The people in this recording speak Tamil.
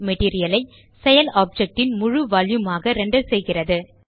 மெட்டீரியல் ஐ செயல் ஆப்ஜெக்ட் ன் முழு வால்யூம் ஆக ரெண்டர் செய்கிறது